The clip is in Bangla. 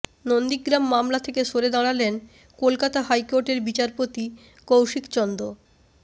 নন্দীগ্রাম মামলা থেকে সরে দাঁড়ালেন কলকাতা হাইকোর্টের বিচারপতি কৌশিক চন্দ